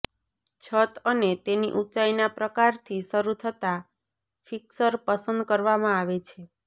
છત અને તેની ઊંચાઇના પ્રકારથી શરૂ થતાં ફિક્સર પસંદ કરવામાં આવે છે